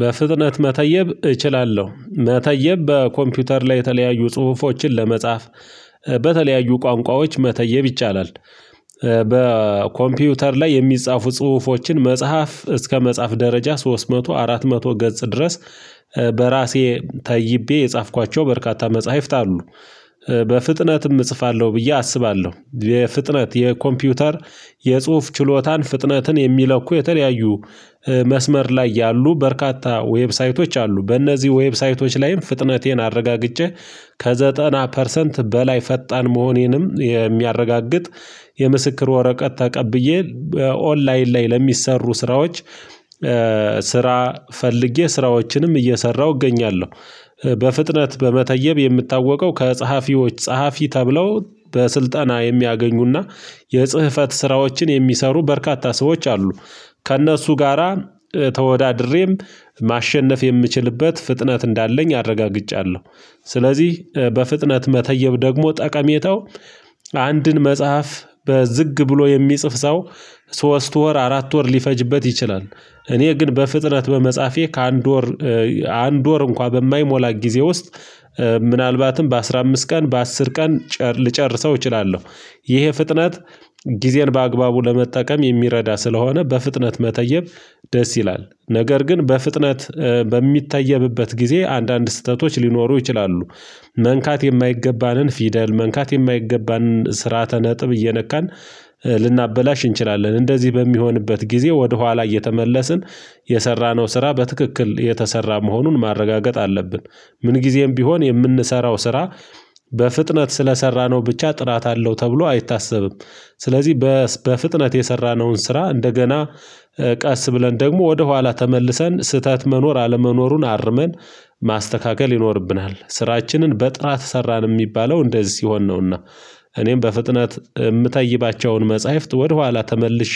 በፍጥነት መተየብ እችላለሁ መተየብ በኮምፒውተር ላይ የተለያዩ ጽሁፎችን ለመጻፍ በተለያዩ ቋንቋዎች መተየብ ይቻላል። በኮምፒውተር ላይ የሚጻፉ ጽሁፎችን መጽሐፍ እስከ መጽሐፍ ደረጃ ሶስት መቶ አራት መቶ ገጽ ድረስ። በራሴ ተይቤ የጻፍኳቸው በርካታ መጽሐፍት አሉ። በፍጥነትም እጽፋለሁ ብዬ አስባለሁ የፍጥነት የኮምፒውተር የጽሁፍ ችሎታን ፍጥነትን የሚለኩ የተለያዩ መስመር ላይ ያሉ በርካታ ዌብሳይቶች አሉ። በእነዚህ ዌብሳይቶች ላይም ፍጥነቴን አረጋግጬ ከዘጠና ፐርሰንት በላይ ፈጣን መሆኔንም የሚያረጋግጥ የምስክር ወረቀት ተቀብዬ በኦንላይን ላይ ለሚሰሩ ስራዎች። ስራ ፈልጌ ስራዎችንም እየሰራሁ እገኛለሁ። በፍጥነት በመተየብ የምታወቀው ከጸሐፊዎች ጸሐፊ ተብለው በስልጠና የሚያገኙና የጽህፈት ስራዎችን የሚሰሩ በርካታ ሰዎች አሉ። ከእነሱ ጋራ ተወዳድሬም ማሸነፍ የምችልበት ፍጥነት እንዳለኝ አረጋግጫለሁ። ስለዚህ በፍጥነት መተየብ ደግሞ ጠቀሜታው አንድን መጽሐፍ በዝግ ብሎ የሚጽፍ ሰው ሶስት ወር አራት ወር ሊፈጅበት ይችላል። እኔ ግን በፍጥነት በመጻፌ ከአንድ ወር አንድ ወር እንኳን በማይሞላ ጊዜ ውስጥ። ምናልባትም በአስራ አምስት ቀን በአስር ቀን ልጨርሰው እችላለሁ። ይሄ ፍጥነት ጊዜን በአግባቡ ለመጠቀም የሚረዳ ስለሆነ በፍጥነት መተየብ። ደስ ይላል ነገር ግን በፍጥነት በሚታየብበት ጊዜ አንዳንድ ስህተቶች ሊኖሩ ይችላሉ። መንካት የማይገባንን ፊደል መንካት የማይገባንን ስርዓተ ነጥብ እየነካን ልናበላሽ እንችላለን። እንደዚህ በሚሆንበት ጊዜ ወደ ኋላ እየተመለስን የሰራነው ስራ በትክክል የተሰራ መሆኑን ማረጋገጥ አለብን። ምን ጊዜም ቢሆን የምንሰራው ስራ። በፍጥነት ስለሰራነው ብቻ ጥራት አለው ተብሎ አይታሰብም። ስለዚህ በፍጥነት የሰራነውን ስራ እንደገና ቀስ ብለን ደግሞ ወደ ኋላ ተመልሰን ስህተት መኖር አለመኖሩን አርመን ማስተካከል ይኖርብናል። ስራችንን በጥራት ሰራን የሚባለው እንደዚህ ሲሆን ነውና። እኔም በፍጥነት የምታይባቸውን መጽሐፍት ወደኋላ ተመልሼ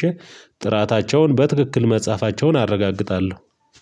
ጥራታቸውን በትክክል መጽሐፋቸውን አረጋግጣለሁ